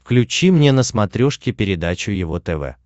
включи мне на смотрешке передачу его тв